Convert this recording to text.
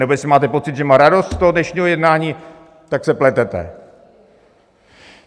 Nebo jestli máte pocit, že má radost z toho dnešního jednání, tak se pletete.